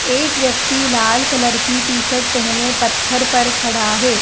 एक व्यक्ति लाल कलर की टी शर्ट पहने पत्थर पर खड़ा है।